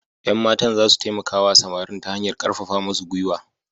Yan matan za su taimaka wa samarin ta hanyar karfafa musu gwiwa.